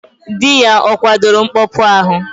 Dị ya ọ kwadoro mkpọpu ahụ?